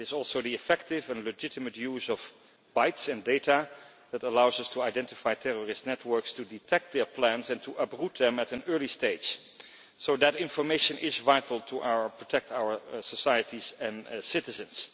It is also the effective and legitimate use of bytes and data that allows us to identify terrorist networks, to detect their plans and to uproot them at an early stage. So that information is vital to protect our societies and citizens.